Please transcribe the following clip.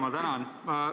Ma tänan!